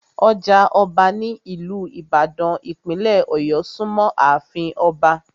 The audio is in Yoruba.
Ọjà ọba ní ìlú ìbàdàn, ìpínlẹ̀ ọ̀yọ́ súnmọ́ àfin Ọba